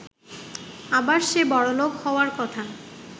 আবার সে বড়লোক হওয়ার কথা।